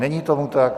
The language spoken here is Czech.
Není tomu tak.